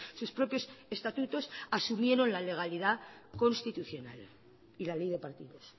sus propios estatutos asumieron la legalidad constitucional y la ley de partidos